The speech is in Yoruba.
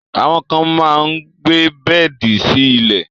Àwọn kan máa gbé bẹ́ẹ̀di sí ilẹ̀